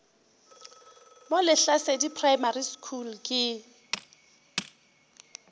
mo lehlasedi primary school ke